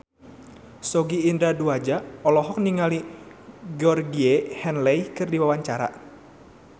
Sogi Indra Duaja olohok ningali Georgie Henley keur diwawancara